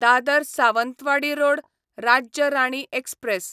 Dadar Sawantwadi road Rajya Rani express